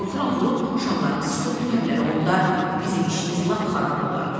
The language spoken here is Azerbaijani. Qorxuram vurub şamlarımızı söndürərlər, onda bizim işimiz lap xarab olar.